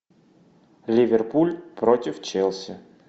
ливерпуль против челси